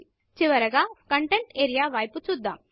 చివరగా కంటెంట్ areaకంటెంట్ఏరియా వైపు చూద్దాం